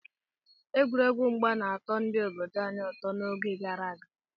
Egwuregwu mgba na-atọ ndị obodo anyị ụtọ n'oge gara aga.